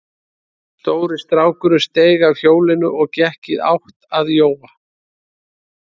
Stóri strákurinn steig af hjólinu og gekk í átt að Jóa.